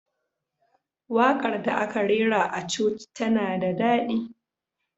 Waƙar da aka rera a coci tana da daɗi.